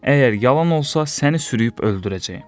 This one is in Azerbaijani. Əgər yalan olsa, səni sürüyüb öldürəcəyəm.